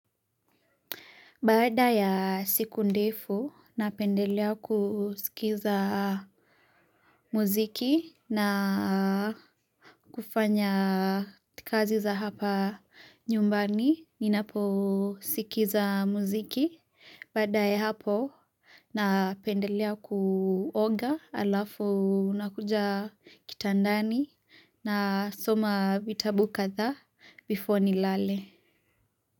Bada ya siku ndefu, napendelea kusikiza muziki na kufanya tikazi za hapa nyumbani. Ninapo sikiza muziki. Bada ya hapo, napendelea kuoga alafu nakuja kitandani na soma vitabu kadha bifo nilale.